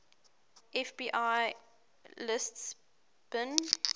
fbi lists bin